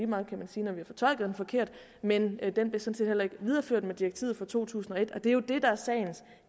meget kan man sige når vi har fortolket den forkert men den blev sådan set heller ikke videreført med direktivet fra to tusind og et og det er jo det der er sagens